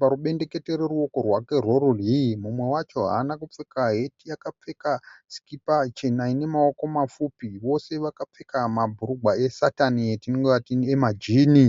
parubendekete rweruoko rwake rwerudyi mumwe wacho haana kupfeka heti akapfeka sikipa chena ine maoko mapfupi vose vakapfeka mabhurugwa esatani etingati emajini.